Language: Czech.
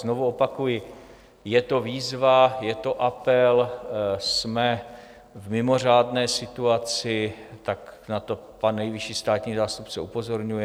Znovu opakuji, je to výzva, je to apel, jsme v mimořádné situaci, tak na to pan nejvyšší státní zástupce upozorňuje.